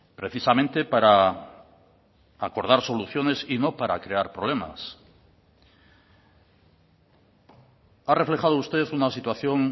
precisamente para acordar soluciones y no para crear problemas ha reflejado usted una situación